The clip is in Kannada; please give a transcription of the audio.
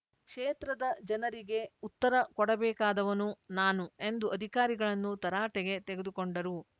ಕ್ಷೇತ್ರದ ಜನರಿಗೆ ಉತ್ತರ ಕೊಡಬೇಕಾದವನು ನಾನು ಎಂದು ಅಧಿಕಾರಿಗಳನ್ನು ತರಾಟೆಗೆ ತೆಗೆದುಕೊಂಡರು